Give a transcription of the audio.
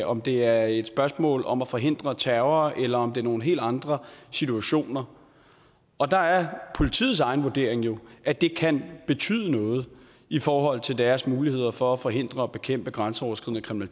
om det er et spørgsmål om at forhindre terror eller om det er nogle helt andre situationer og der er politiets egen vurdering jo at det kan betyde noget i forhold til deres muligheder for at forhindre og bekæmpe grænseoverskridende